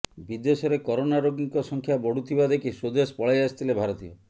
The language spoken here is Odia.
ବିଦେଶରେ କରୋନା ରୋଗୀଙ୍କ ସଂଖ୍ୟା ବଢ଼ୁଥିବା ଦେଖି ସ୍ୱଦେଶ ପଳାଇଆସିଥିଲେ ଭାରତୀୟ